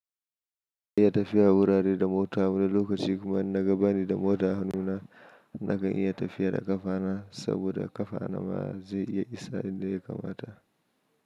Ina iya tafiya wurare da mota. Wani lokaci kuma in naga bani da mota a hannuna, nakan iya tafiya da ƙafa na saboda ƙafa na ma zai iya isa inda ya kamata.